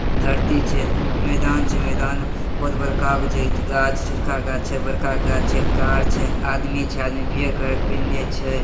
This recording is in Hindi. धरती छे मैदान छे। मैदान बहुत बड़का गो छे। गाछ छोटका गाछ छे बड़का गाछ छे। कार छे। आदमी छे आदमी पियर कलर के पिहनने छे।